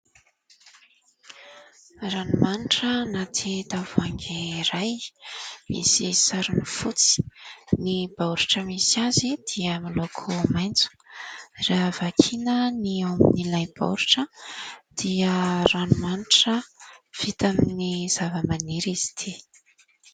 Ranomanitra anaty tavoahangy iray misy sarony fotsy. Ny baoritra misy azy dia miloko maitso raha vakiana ny ao amin'ilay baoritra dia ranomanitra vita amin'ny zavamaniry izy ity.